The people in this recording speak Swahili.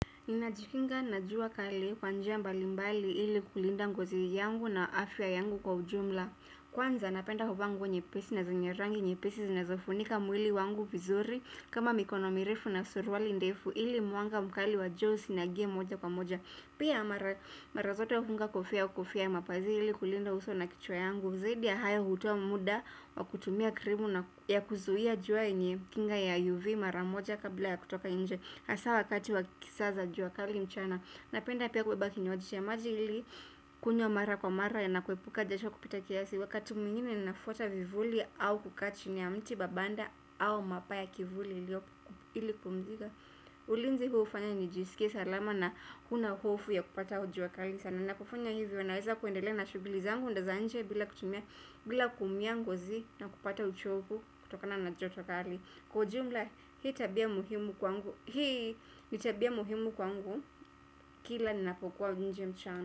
Ninajikinga na jua kali kwa njia mbalimbali ili kulinda ngozi yangu na afya yangu kwa ujumla. Kwanza napenda kuvaa nguo nyepesi na zenye rangi nyepesi zinazofunika mwili wangu vizuri kama mikono mirefu na suruali ndefu ili mwanga mkali wa jua usiniingie moja kwa moja. Pia mara zote hufunga kofia ua kofia ya mapazia ili kulinda uso na kichwa yangu zaidi ya haya hutoa muda wa kutumia krimu na ya kuzuia jua yenye kinga ya UV mara moja kabla ya kutoka nje hasa wakati wa kisaa za jua kali mchana. Napenda pia kubeba kinywaji cha maji ili kunywa mara kwa mara na kuepuka jasho kupita kiasi. Wakati mwingine nafuata vivuli au kukaa chini ya mti au mapaa ya kivuli ili kupumzika. Ulinzi hufanya nijisikie salama na huna hofu ya kupata jua kali sana na kufanya hivi naweza kuendelea na shughuli zangu za nje bila kutumia bila kuumia ngozi na kupata uchovu kutokana na joto kali. Kwa jumla hii tabia muhimu kwangu. Hii ni tabia muhimu kwangu. Kila ninapokuwa nje mchana.